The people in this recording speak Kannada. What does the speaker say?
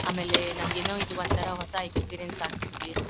ಆಮೇಲೆ ನಾವೇನು ಇದು ಒಂತರ ಹೊಸ ಎಕ್ಸ್ಪೀರಿಯೆನ್ಸ್ ಆಗತೈತಿ.